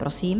Prosím.